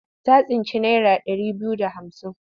Ta tsinci naira ɗari biyu da hamsin.